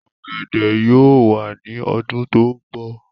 ọ̀gẹ̀dẹ̀ yóò wà ní ọdún tó ń bọ̀